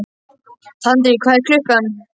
Tandri, hvað er klukkan?